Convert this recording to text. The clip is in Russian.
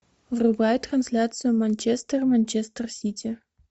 врубай трансляцию манчестер манчестер сити